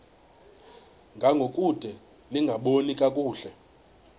ngangokude lingaboni kakuhle